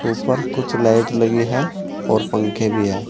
ऊपर कुछ लाइट लगी है और पंखे भी है।